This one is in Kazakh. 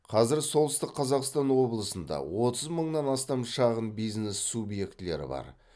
қазір солтүстік қазақстан облысында отыз мыңнан астам шағын бизнес субъектілері бар